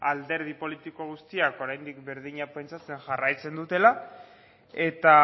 alderdi politiko guztiak oraindik berdina pentsatzen jarraitzen dutela eta